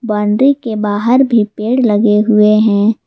Boundary के बाहर भी पेड़ लगे हुए हैं।